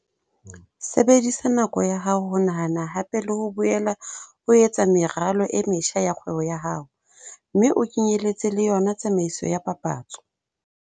Sebedisa nako ya hao ho nahana hape le ho boela o etsa meralo e metjha ya kgwebo ya hao, mme o kenyeletse le yona tsamaiso ya papatso.